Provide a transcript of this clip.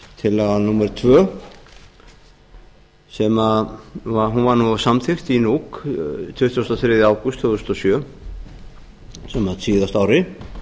tillaga númer annað hún var samþykkt í nuuk tuttugasta og þriðja ágúst tvö þúsund og sjö á síðasta ári